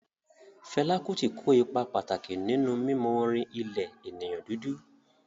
Fela Kuti ko ipa pàtàkì nínú mímọ orin ilẹ̀ ènìyàn dúdú